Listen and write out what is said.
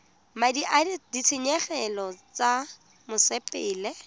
madi a ditshenyegelo tsa mosepele